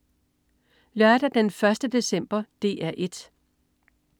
Lørdag den 1. december - DR 1: